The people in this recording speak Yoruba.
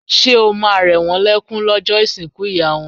Ṣé o ma rẹ̀ wón lẹ́ kún lọ́jọ́ ìsìnkú ìyá wọn?